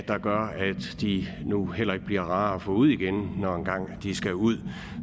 de nu heller ikke bliver rare at få ud igen når en gang de skal ud